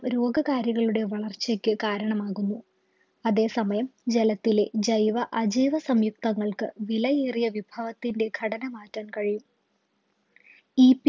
രോഗ കാരികളുടെയോ വളർച്ചയ്ക്ക് കാരണമാകുന്നു അതേസമയം ജലത്തിലെ ജൈവ അജൈവ സംയുക്തങ്ങൾക്ക് വിലയേറിയ വിഭാവത്തിൻറെ ഘടന മാറ്റാൻ കഴിയും ഈ